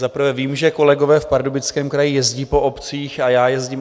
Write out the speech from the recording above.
Za prvé vím, že kolegové v Pardubickém kraji jezdí po obcích, a já jezdím.